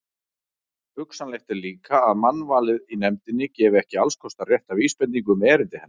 Hugsanlegt er líka, að mannvalið í nefndinni gefi ekki allskostar rétta vísbendingu um erindi hennar.